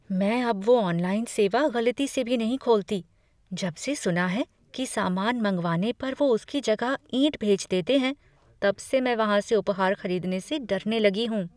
मैं अब वो ऑनलाइन सेवा गलती से भी नहीं खोलती। जबसे सुना है कि सामान मंगवाने पर वो उसकी जगह ईंट भेज देते हैं तब से मैं वहाँ से उपहार खरीदने से डरने लगी हूँ।